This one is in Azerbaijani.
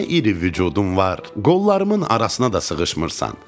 Nə iri vücudun var, qollarımın arasına da sığışmırsan.